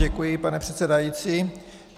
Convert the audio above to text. Děkuji, pane předsedající.